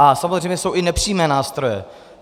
A samozřejmě jsou i nepřímé nástroje.